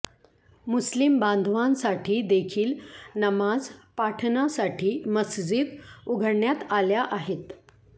मुस्लिम बांधवांसाठी देखील नमाज पाठणासाठी मस्जिद उघडण्यात आल्या आहेत